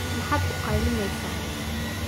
Maxaad u qaylinaysaan?